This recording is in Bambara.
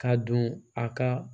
Ka don a ka